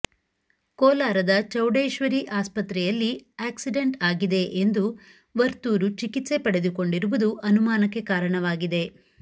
ಕೋಲಾರದ ಚೌಡೇಶ್ವರಿ ಆಸ್ಪತ್ರೆಯಲ್ಲಿ ಆ್ಯಕ್ಸಿಡೆಂಟ್ ಆಗಿದೆ ಎಂದು ವರ್ತೂರು ಚಿಕಿತ್ಸೆ ಪಡೆದುಕೊಂಡಿರುವುದು ಅನುಮಾನಕ್ಕೆ ಕಾರಣವಾಗಿದೆ